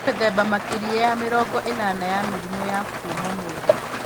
Kwĩ mĩthemba makĩria ya mĩrongo ĩnana ya mĩrimũ ya kuma mwĩrĩ.